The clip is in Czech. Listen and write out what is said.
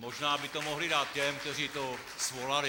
Možná by to mohli dát těm, kteří to svolali.